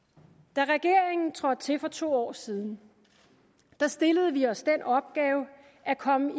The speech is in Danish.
da regeringen trådte til for to år siden stillede vi os den opgave at komme